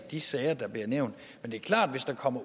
de sager der bliver nævnt men det er klart at hvis der kommer